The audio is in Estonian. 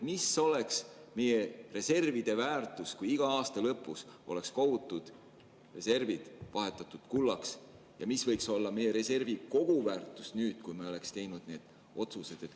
Mis oleks meie reservide väärtus, kui iga aasta lõpus oleks kogutud reservid vahetatud kullaks, ja mis oleks meie reservi koguväärtus nüüd, kui me oleks teinud need otsused?